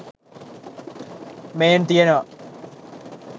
මේන් තියෙනවා